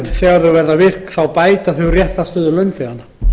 þegar ákvæðið verður virkt bætir það réttarstöðu launþeganna